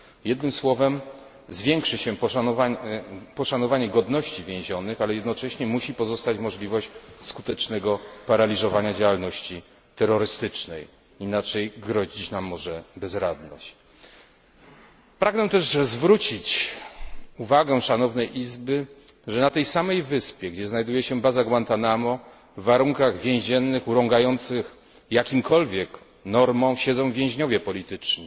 Jednym słowem, zwiększy się poszanowanie godności więzionych, ale jednocześnie musi pozostać możliwość skutecznego paraliżowania działalności terrorystycznej, inaczej grozić nam może bezradność. Pragnę też zwrócić uwagę Szanownej Izby, że na tej samej wyspie gdzie, znajduje się baza Guantanamo, w warunkach więziennych, urągających jakimkolwiek normom, osadzeni są więźniowie polityczni,